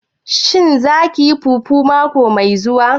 Shin za kiyi fufu mako mai zuwa?